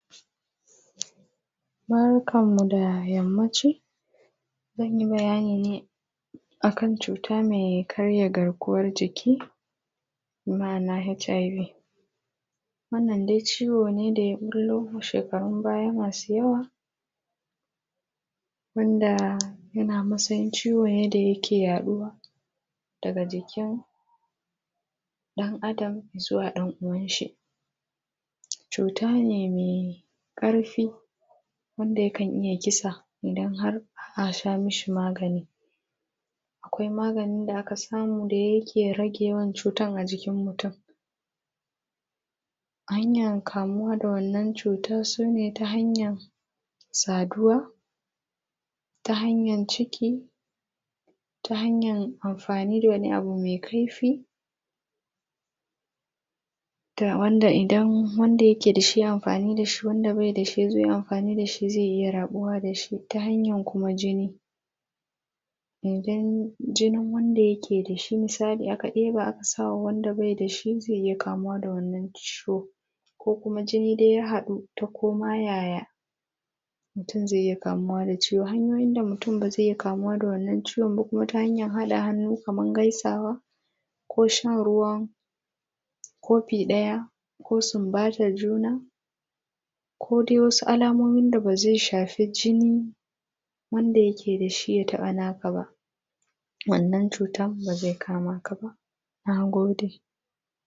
Barkanmu da yammaci. Zan yi bayani ne a kan cuta mai karya garkuwan jiki, bi ma'ana HIV. Wannan dai ciwo ne da ya ɓullo a shekarun baya masu yawa, wanda yana matsayin ciwo ne da yake yaɗuwa daga jikin ɗan’adam zuwa ɗan’uwanshi. Cuta ne mai ƙarfi wanda yakan iya kisa, idan har ba a sha mishi magani, Akwai maganin da aka samu da yake rage yawan cutar a jikin mutum. Hanyar kamuwa da wannan cutar su ne ta hanyar, saduwa, ta hanyar ciki, ta hanyar amfani da wani abu mai kaifi, da wanda idan wanda yake da shi ya yi amfani da shi wanda bai da shi ya zo ya yi amfani da shi zai iya raɓuwa da shi ta hanyar kuma jini. Idan jinin wanda yake da shi misali aka ɗeba aka sa wa wanda bai da shi zai iya kamuwa da wannan ciwo. Ko kuma jini dai ya haɗu ta ko ma yaya mutum zai iya kamuwa da ciwon. Hanyoyin da mutum ba zai iya kamuwa da wannan ciwon ba kuma, ta hanyar haɗa hannu kamar gaisawa, ko shan ruwan kofi ɗaya, ko sumbatar juna, ko dai wasu alamomin da ba zai shafi jinin wanda yake da shi ya taɓa naka ba, wannan cutar ba zai kama ka ba. Na gode.